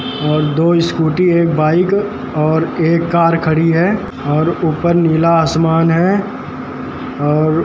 और दो स्कूटी है बाइक और एक कार खड़ी है और ऊपर नीला आसमान है और --